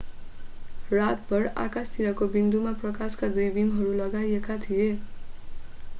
रातभर आकाशतिरको बिन्दुमा प्रकाशका दुई बीमहरू लगाइएका थिए